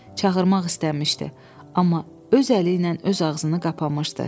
Çağırmaq istəmişdi, amma öz əli ilə öz ağzını qapamışdı.